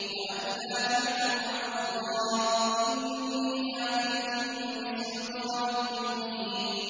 وَأَن لَّا تَعْلُوا عَلَى اللَّهِ ۖ إِنِّي آتِيكُم بِسُلْطَانٍ مُّبِينٍ